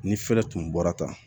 Ni fɛɛrɛ tun bɔra tan